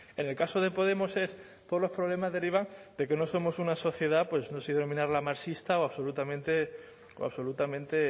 en el caso de podemos es todos los problemas derivan de que no somos una sociedad pues no sé si denominarla marxista o absolutamente